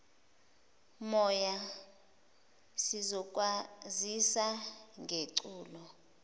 moya sizokwazisa ngeculo